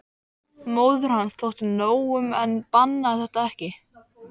Móður hans þótti nóg um en bannaði þetta ekki.